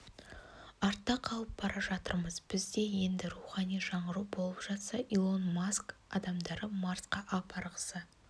артта қалып бара жатырмыз бізде енді рухани жаңғыру болып жатса илон маск адамдары марсқа апарғысы